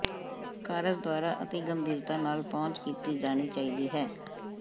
ਕਾਰਜ ਦੁਆਰਾ ਅਤਿ ਗੰਭੀਰਤਾ ਨਾਲ ਪਹੁੰਚ ਕੀਤੀ ਜਾਣੀ ਚਾਹੀਦੀ ਹੈ